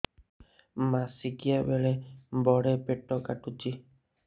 ମାସିକିଆ ବେଳେ ବଡେ ପେଟ କାଟୁଚି